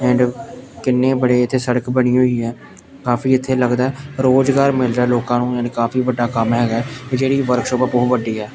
And ਕਿੰਨੇ ਬੜੇ ਇੱਥੇ ਸੜਕ ਬਣੀ ਹੋਈ ਆ ਕਾਫੀ ਇੱਥੇ ਲੱਗਦਾ ਰੋਜ਼ਗਾਰ ਮਿਲਦਾ ਲੋਕਾਂ ਨੂੰ ਐਡ ਕਾਫੀ ਵੱਡਾ ਕੰਮ ਹੈਗਾ ਜਿਹੜੀ ਵਰਕਸ਼ੋਪ ਬਹੁਤ ਵੱਡੀ ਆ।